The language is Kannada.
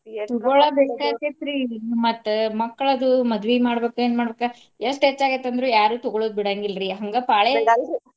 ಮತ್ತ ಮಕ್ಕಳದು ಮದ್ವಿ ಮಾಡ್ಬೇಕ ಏನ ಮಾಡ್ಬೇಕ ಎಷ್ಟು ಹೆಚ್ಚ ಆಗೇತಿ ಅಂದ್ರು ಯಾರು ತಗೊಳೋದ ಬಿಡಾಂಗಿಲ್ರಿ ಹಂಗ ಪಾಳೆ .